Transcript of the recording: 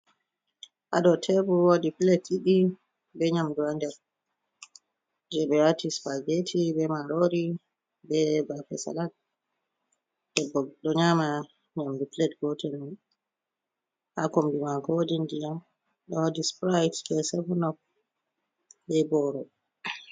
Ha dou tebur wodi plate ɗiɗi be nyamdu ha nder, je ɓe wati spageti be marori be bape salad, debbo ɗo nyama nyamdu plate gotel mai, ha kombi mako wodi ndiyam wodi sprite be seven up be boro.